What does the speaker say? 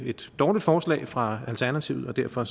et dårligt forslag fra alternativet og derfor